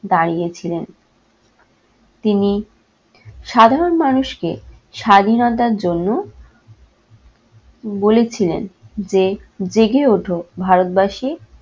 দাঁড়িয়েছিলেন। তিনি সাধারণ মানুষকে স্বাধীনতার জন্য বলেছিলেন যে জেগে ওঠো ভারতবাসী